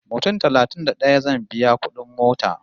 Mutum talatin da ɗaya zan biya kudin mota